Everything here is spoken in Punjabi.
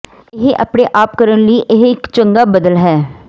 ਇਹ ਆਪਣੇ ਆਪ ਕਰਨ ਲਈ ਇਹ ਇੱਕ ਚੰਗਾ ਬਦਲ ਹੈ